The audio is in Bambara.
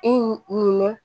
E nin